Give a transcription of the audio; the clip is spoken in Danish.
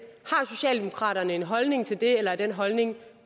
har socialdemokraterne en holdning til det eller er den holdning